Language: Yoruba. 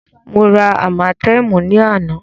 Mó rá ámátẹ̀ẹ̀mú ní àná.